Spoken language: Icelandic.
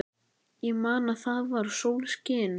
Ég man að það var sólskin.